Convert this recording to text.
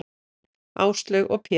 Áslaug og Pétur.